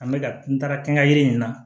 An bɛ ka n taara kɛ n ka yiri in na